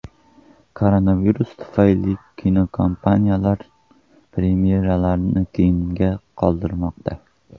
Koronavirus tufayli kinokompaniyalar premyeralarni keyinga qoldirmoqda.